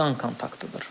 Qan kontaktıdır.